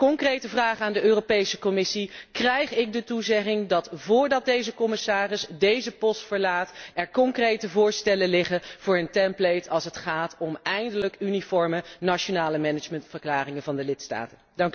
Concrete vraag aan de Europese Commissie krijg ik de toezegging dat, voordat deze commissaris deze post verlaat, er concrete voorstellen liggen voor een template als het gaat om eindelijk uniforme nationale managementverklaringen van de lidstaten?